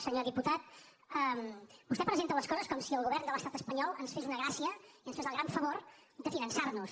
senyor diputat vostè presenta les coses com si el govern de l’estat espanyol ens fes una gràcia i ens fes el gran favor de finançar nos